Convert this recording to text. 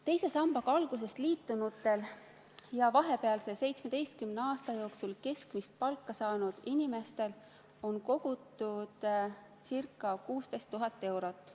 Teise sambaga algusest peale liitunutel ja vahepealse 17 aasta jooksul keskmist palka saanud inimestel on kogutud ca 16 000 eurot.